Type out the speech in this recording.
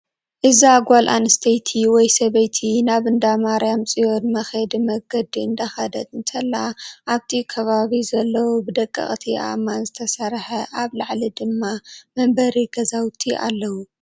እዛ ጓል ኣስተይቲ ወይ ሰበይቲ ናብ እንዳማርያም ፅዮን መክየዲ መንገዲ እንዳከደት እንተላ ኣብቲ ከባቢ ዘለው ብደቀቅቲ ኣእማን ዝተሰረሐ ኣብ ላልሊ ድማ መንበሪ ገዛውቲ ኣለው።